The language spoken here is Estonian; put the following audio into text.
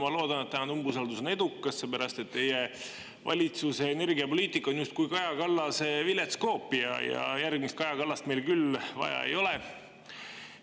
Ma loodan, et tänane umbusaldus on edukas, sellepärast et teie valitsuse energiapoliitika on justkui Kaja Kallase oma vilets koopia ja järgmist Kaja Kallast meil küll vaja ei ole.